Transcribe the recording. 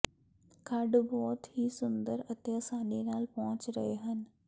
ਖੱਡ ਬਹੁਤ ਹੀ ਸੁੰਦਰ ਅਤੇ ਅਸਾਨੀ ਨਾਲ ਪਹੁੰਚ ਰਹੇ ਹਨ